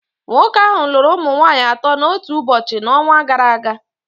Nwoke ahụ lụrụ ụmụ nwanyị atọ n'otu ụbọchị n'ọnwa gara aga